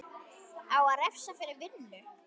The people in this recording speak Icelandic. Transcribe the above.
Á að refsa fyrir vinnu?